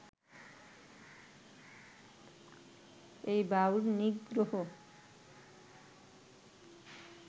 এই বাউল-নিগ্রহ